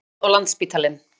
Íslands og Landspítalann.